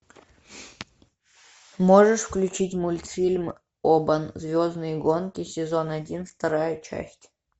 можешь включить мультфильм обан звездные гонки сезон один вторая часть